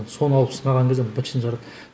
соны алып сынаған кезде быт шытын шығарады